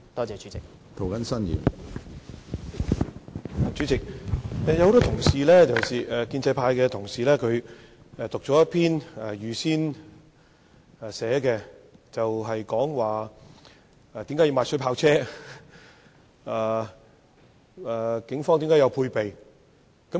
主席，多位建制派同事讀出事先準備的講稿，陳述為何需要購買水炮車，又指警方須有配備。